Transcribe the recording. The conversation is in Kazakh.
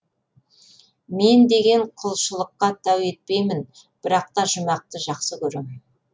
мен деген құлшылыққа тәу етпеймін бірақ та жұмақты жақсы көрем